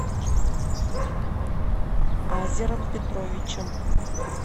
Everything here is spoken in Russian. азером петровичем